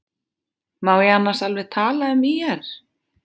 Má ég annars alveg tala um ÍR?